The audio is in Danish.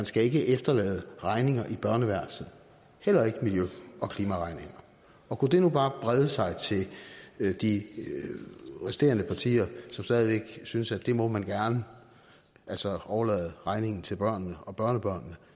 skal efterlade regninger i børneværelset heller ikke miljø og klimaregninger kunne det nu bare brede sig til de resterende partier som stadig væk synes at det må man gerne altså overlade regningen til børnene og børnebørnene